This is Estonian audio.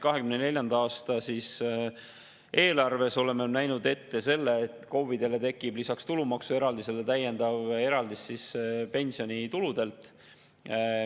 2024. aasta eelarves oleme näinud ette selle, et KOV‑idele tekib lisaks tulumaksueraldisele täiendav eraldis pensionituludelt.